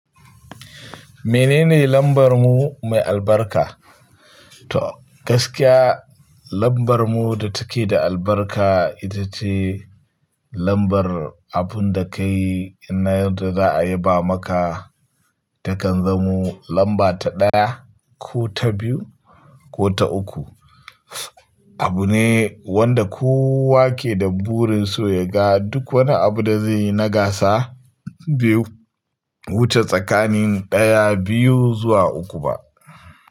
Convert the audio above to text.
Menene lambarmu mai albarka? To gaskiya lambarmu da take da albarka ita ce lambar abun da ka yi in na yarda za a yaba maka takan zamo lamba ta ɗaya ko ta biyu ko ta uku. Abu ne wanda kowa ke da burin so ya ga duk wani abu da zai yi na gasa bai wuce tsakanin ɗaya, biyu zuwa uku ba.